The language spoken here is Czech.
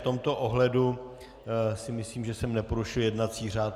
V tomto ohledu si myslím, že jsem neporušil jednací řád.